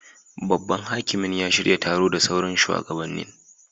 Babban hakimin ya shirya taro da sauran shuwagabannin.